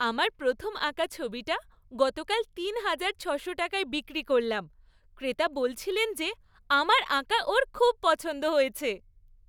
আমার প্রথম আঁকা ছবিটা গতকাল তিন হাজার ছশো টাকায় বিক্রি করলাম। ক্রেতা বলছিলেন যে আমার আঁকা ওঁর খুব পছন্দ হয়েছে!